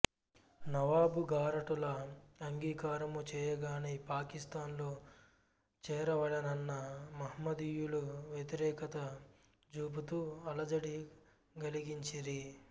నవాబుగారటుల అంగీకారము చేయగనే పాకిస్తాన్లో చేరవలెనన్న మహ్మదీయులు వ్యతిరెకత జూపుతూ అలజడి కలిగించిరి